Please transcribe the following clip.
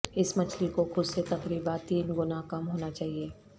اس مچھلی کو خود سے تقریبا تین گنا کم ہونا چاہئے